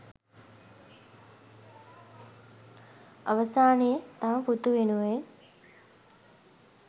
අවසානයේ තම පුතු වෙනුවෙන්